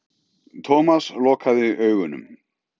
Thomas lokaði augunum.